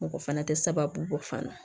Mɔgɔ fana tɛ sababu bɔ fana